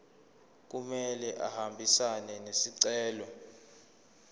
kumele ahambisane nesicelo